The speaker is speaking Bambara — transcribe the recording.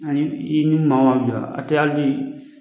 Ani i ye min jɔ